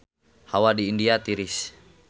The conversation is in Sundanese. Hawa di India tiris